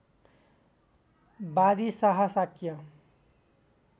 वादी शाह शाक्य